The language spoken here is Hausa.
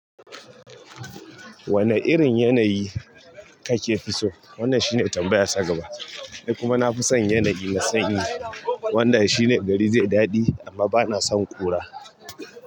Wanne irin yanayi kake fi so? Wannan shine tambayar ta gaba. Ni kuma na fi son yanayi na sanyi, wanda shine gari zai yi daɗi, amma bana son ƙura.